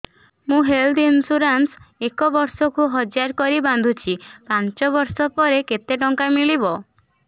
ମୁ health insurance ଏକ ବର୍ଷକୁ ହଜାର କରି ବାନ୍ଧୁଛି ପାଞ୍ଚ ବର୍ଷ ପରେ କେତେ ଟଙ୍କା ମିଳିବ